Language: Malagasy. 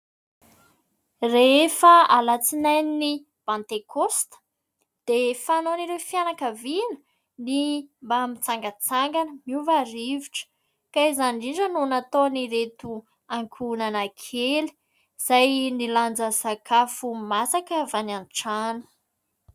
Rehefa alatsinain'i pantekosta dia fanaon'ireo fianakaviana ny mba mitsangatsangana, miova rivotra ka izany indrindra no nataon'ireto ankohonana kely izay nilanja sakafo masaka avy any an-trano.